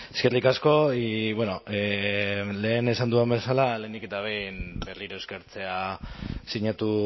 eskerrik asko y bueno lehen esan dudan bezala lehenik eta behin berriro eskertzea sinatu